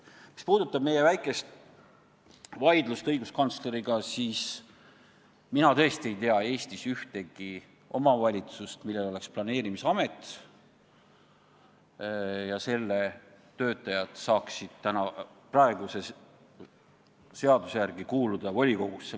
Mis puudutab meie väikest vaidlust õiguskantsleriga, siis mina tõesti ei tea Eestis ühtegi omavalitsust, kus oleks planeerimisamet ja selle töötajad saaksid praeguse seaduse järgi volikogusse kuuluda.